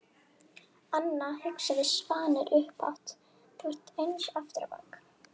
Anna, hugsaði Svanur upphátt, þú ert eins aftur á bak.